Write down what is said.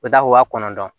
O da ko waa kɔnɔntɔn